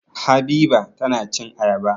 Habiba tana cin ayaba.